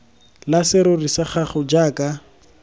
la serori sa gago jaaka